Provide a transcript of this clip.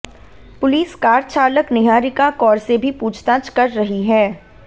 police car चालक निहारिका कौर से भी पूछताछ कर रही है